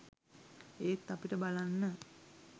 ඒත් අපිට බලන්න